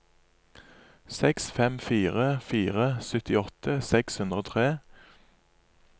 seks fem fire fire syttiåtte seks hundre og tre